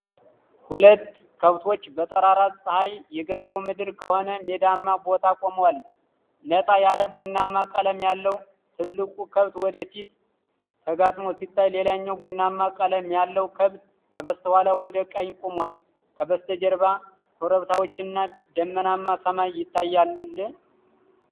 ሁለት ከብቶች በጠራራ ፀሐይ የገጠሩ ምድር በሆነ ሜዳማ ቦታ ቆመዋል። ነጣ ያለ ቡናማ ቀለም ያለው ትልቁ ከብት ወደ ፊት ተጋጥሞ ሲታይ፣ ሌላኛው ቡናማ ቀለም ያለው ከብት ከበስተኋላው ወደ ቀኝ ቆሟል። ከበስተጀርባ ኮረብታዎችና ደመናማ ሰማይ ይታያል።